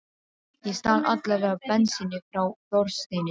Ég stal alla vega bensíni frá Þorsteini.